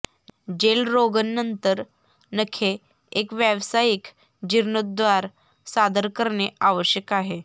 gel रोगण नंतर नखे एक व्यावसायिक जीर्णोद्धार सादर करणे आवश्यक आहे